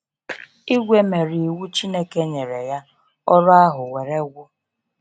ìgwè mere iwu Chineke nyere ya, ọrụ ahụ were gwụ.